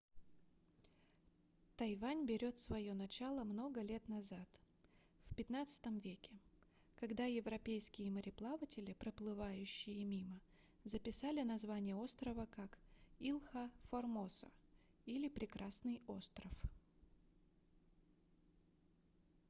тайвань берёт своё начало много лет назад в xv веке когда европейские мореплаватели проплывающие мимо записали название острова как ilha formosa или прекрасный остров